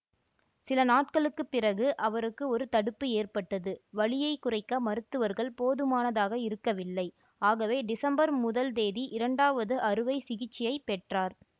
சில நாட்களுக்கு பிறகு அவருக்கு ஒரு தடுப்பு ஏற்பட்டது வலியை குறைக்க மருத்துவர்கள் போதுமானதாக இருக்கவில்லை ஆகவே டிசம்பர் முதல் தேதி இரண்டாவது அறுவைசிகிச்சையைப் பெற்றார்